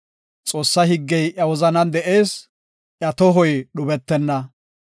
Xoossa higgey iya wozanan de7ees; iya tohoy dhubetenna.